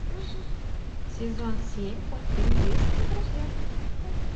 сезон семь мультфильм близкие друзья